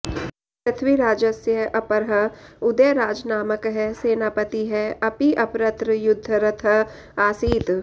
पृथ्वीराजस्य अपरः उदयराजनामकः सेनापतिः अपि अपरत्र युद्धरतः आसीत्